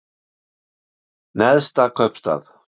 Neðsta kaupstað